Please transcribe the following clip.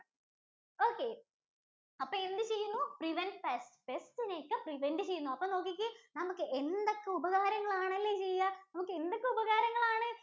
Okay അപ്പൊ എന്ത് ചെയ്യുന്നു prevents pestspest ഇനെ ഒക്കെ prevent ചെയ്യുന്നു. അപ്പൊ നോക്കിക്കേ? എന്തൊക്കെ ഉപകാരങ്ങൾ ആണ് അല്ലേ ചെയ്യുക എന്തൊക്കെ ഉപകാരങ്ങൾ ആണ്?